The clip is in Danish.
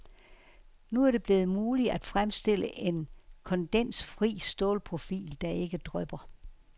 Nu er det blevet muligt at fremstille en kondensfri stålprofil, der ikke drypper.